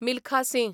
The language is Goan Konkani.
मिल्खा सिंह